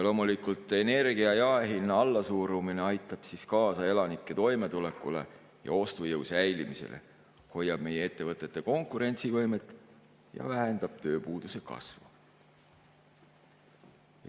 Loomulikult, energia jaehinna allasurumine aitab kaasa elanike toimetulekule ja ostujõu säilimisele, hoiab meie ettevõtete konkurentsivõimet ja vähendab tööpuuduse kasvu.